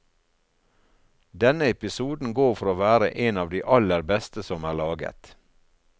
Denne episoden går for å være en av de aller beste som er laget.